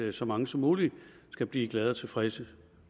at så mange som muligt skal blive glade og tilfredse